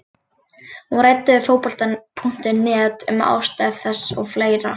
Hún ræddi við Fótbolta.net um ástæður þess og fleira.